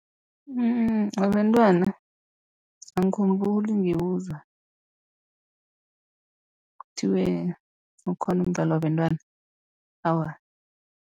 Mm wabentwana angikhumbuli ngiwuzwa, kuthiwa ukhona umdlalo wabentwana awa.